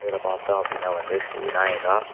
இத பாத்தோம் அப்டினா வந்து ஸ்ரீ விநாயகா .